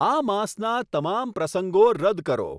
આ માસના તમામ પ્રસંગો રદ કરો